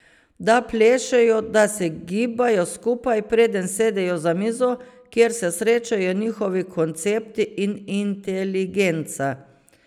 Da plešejo, da se gibajo skupaj, preden sedejo za mizo, kjer se srečajo njihovi koncepti in inteligenca.